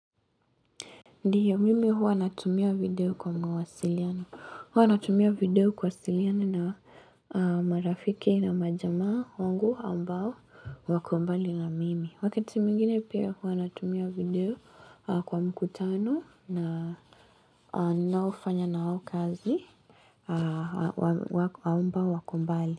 Ndiyo, mimi huwa natumia video kwa mwasiliano. Huwa natumia video kuwasiliana na marafiki na majamaa wangu ambao wako mbali na mimi. Wakati mwingine pia huwa natumia video kwa mkutano na ninaofanya na wao kazi ambao wako mbali.